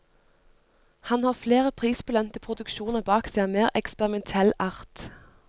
Han har flere prisbelønte produksjoner bak seg av mer eksperimentell art.